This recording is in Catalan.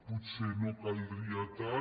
potser no en caldria tant